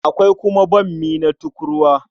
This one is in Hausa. Akwai kuma bammi na tukurwa.